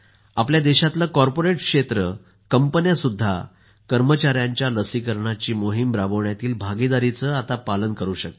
आता देशातलं कॉर्पोरेट क्षेत्र कंपन्यासुद्धा आपल्या कर्मचाऱ्यांच्या लसीकरणाची मोहिम राबवण्यातील भागीदारीचं पालन करू शकतील